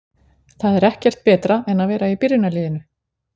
Það er ekkert betra en að vera í byrjunarliðinu.